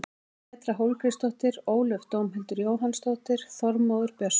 Petra Hólmgrímsdóttir Ólöf Dómhildur Jóhannsdóttir Þormóður Björnsson